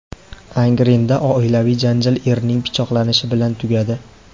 Angrenda oilaviy janjal erning pichoqlanishi bilan tugadi.